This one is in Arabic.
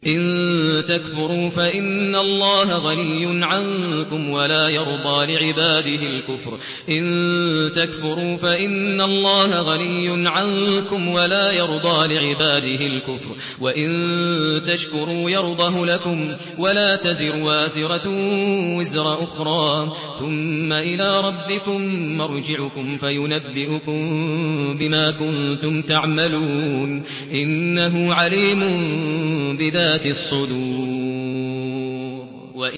إِن تَكْفُرُوا فَإِنَّ اللَّهَ غَنِيٌّ عَنكُمْ ۖ وَلَا يَرْضَىٰ لِعِبَادِهِ الْكُفْرَ ۖ وَإِن تَشْكُرُوا يَرْضَهُ لَكُمْ ۗ وَلَا تَزِرُ وَازِرَةٌ وِزْرَ أُخْرَىٰ ۗ ثُمَّ إِلَىٰ رَبِّكُم مَّرْجِعُكُمْ فَيُنَبِّئُكُم بِمَا كُنتُمْ تَعْمَلُونَ ۚ إِنَّهُ عَلِيمٌ بِذَاتِ الصُّدُورِ